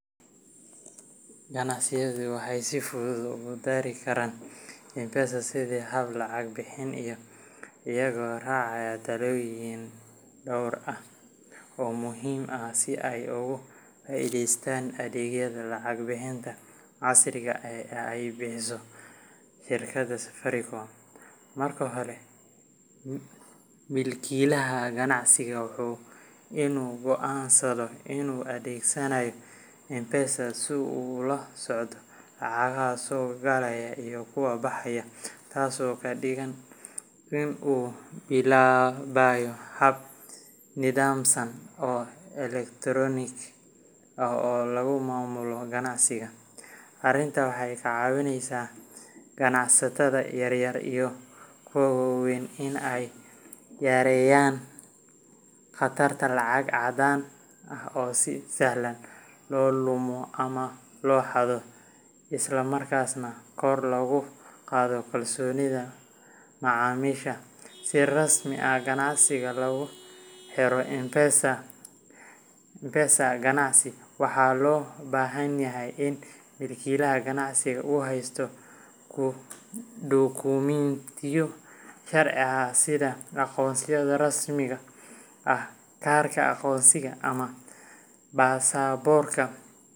Ganacsiyadu waxay si fudud ugu dari karaan M-Pesa sidii hab lacag bixin ah iyagoo raacaya tallaabooyin dhowr ah oo muhiim ah si ay uga faa’iidaystaan adeegyada lacag bixinta casriga ah ee ay bixiso shirkadda Safaricom. Marka hore, milkiilaha ganacsiga waa inuu go’aansadaa inuu adeegsanayo M-Pesa si uu ula socdo lacagaha soo galaya iyo kuwa baxaya, taasoo ka dhigan in uu bilaabayo hab nidaamsan oo elektaroonik ah oo lagu maamulo ganacsiga. Arrintani waxay ka caawinaysaa ganacsatada yaryar iyo kuwa waaweynba in ay yareeyaan khatarta lacag caddaan ah oo si sahlan loo lumo ama loo xado, isla markaana kor loogu qaado kalsoonida macaamiisha. Si rasmi ah ganacsiga loogu xiro M-Pesa, ganacsaduhu wuxuu dalban karaa adeegyada M-Pesa for Business ama adeegga till number nambar ganacsi. Waxaa loo baahan yahay in milkiilaha ganacsiga uu haysto dukumiintiyo sharci ah sida aqoonsiga rasmiga ah kaarka aqoonsiga ama baasaboorka.